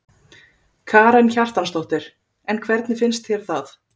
Karen Kjartansdóttir: En hvernig finnst þér það?